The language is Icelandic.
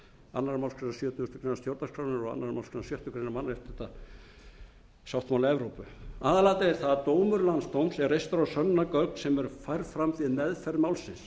sjötugustu grein stjórnarskrárinnar og annarri málsgrein sjöttu grein mannréttindasáttmála evrópu aðalatriðið er að dómur landsdóms er reistur á sönnunargögn sem eru færð fram við meðferð málsins